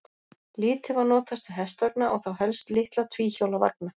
Lítið var notast við hestvagna og þá helst litla tvíhjóla vagna.